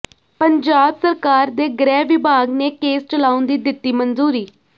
ਪੰਜਾਬ ਸਰਕਾਰ ਦੇ ਗ੍ਰਹਿ ਵਿਭਾਗ ਨੇ ਕੇਸ ਚਲਾਉਣ ਦੀ ਦਿੱਤੀ ਮਨਜ਼ੂਰੀ